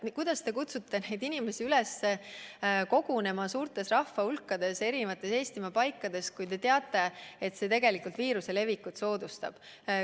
Miks te kutsute inimesi üles kogunema suurtes rahvahulkades Eestimaa eri paikades, kui te teate, et see tegelikult soodustab viiruse levikut?